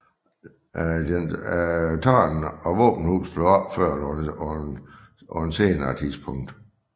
Dens tårn og våbenhus blev opført på et senere tidspunkt